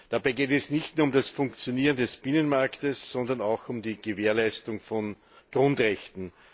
Dabei geht es nicht nur um das Funktionieren des Binnenmarktes, sondern auch um die Gewährleistung von Grundrechten.